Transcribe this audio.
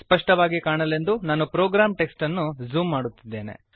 ಸ್ಪಷ್ಟವಾಗಿ ಕಾಣಲೆಂದು ನಾನು ಪ್ರೋಗ್ರಾಮ್ ಟೆಕ್ಸ್ಟ್ ಅನ್ನು ಝೂಮ್ ಮಾಡುತ್ತೇನೆ